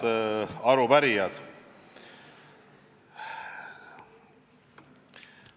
Head arupärijad!